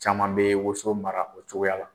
Caman bɛ woso mara o cogoya la.